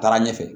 Taara ɲɛfɛ